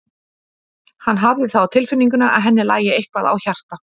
Hann hafði það á tilfinningunni að henni lægi eitthvað á hjarta.